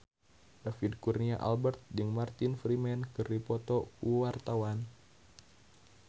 David Kurnia Albert jeung Martin Freeman keur dipoto ku wartawan